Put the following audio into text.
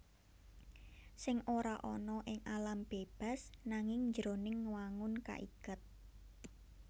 Sèng ora ana ing alam bébas nanging jroning wangun kaiket